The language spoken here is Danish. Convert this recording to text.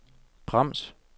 brems